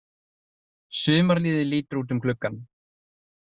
Sumarliði lítur út um gluggann.